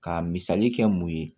Ka misali kɛ mun ye